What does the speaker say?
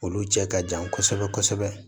Olu cɛ ka jan kosɛbɛ kosɛbɛ